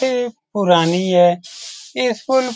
ये एक पुरानी हैस्कूल --